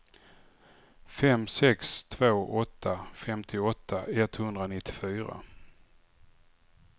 fem sex två åtta femtioåtta etthundranittiofyra